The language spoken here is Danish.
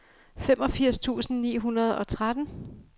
femogfirs tusind ni hundrede og tretten